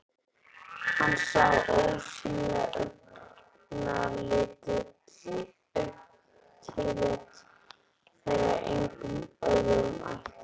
Hann sá ósýnileg augnatillit þeirra engum öðrum ætluð.